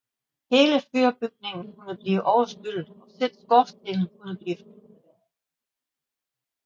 Hele fyrbygningen kunne blive overskyllet og selv skorstenen kunne blive fyldt med vand